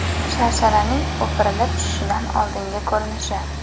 Sharsharaning o‘pirilib tushishidan oldingi ko‘rinishi.